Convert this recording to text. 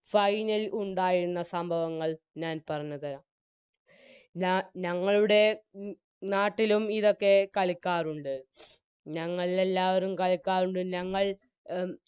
Final ഉണ്ടായിരുന്ന സംഭവങ്ങൾ ഞാൻ പറഞ്ഞുതരാം ഞാ ഞങ്ങളുടെ മ് നാട്ടിലും ഇതൊക്കെ കളിക്കാറുണ്ട് ഞങ്ങളെല്ലാവരും കളിക്കാറുണ്ട് ഞങ്ങൾ അം